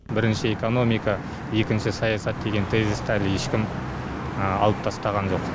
бірінші экономика екінші саясат деген тезисті әлі ешкім алып тастаған жоқ